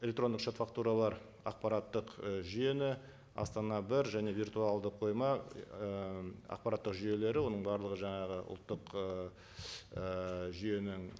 электрондық шот фактуралар ақпараттық і жүйені астана бір және виртуалдық қойма ыыы ақпараттық жүйелері оның барлығы жаңағы ұлттық жүйенің